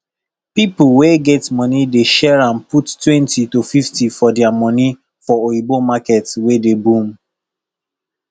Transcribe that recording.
pipo wey get money dey share am puttwentyto 50 of dia moni for oyibo market wey dey boom